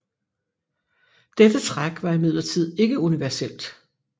Dette træk var imidlertid ikke universelt